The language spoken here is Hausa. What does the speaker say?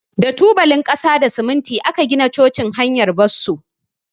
Da tubalin kasa da siminti aka gina cocin hanyar Bosso.